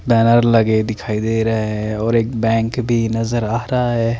दरार लगे दिखाई दे रए है और एक बैंक भी नज़र आ रहा है।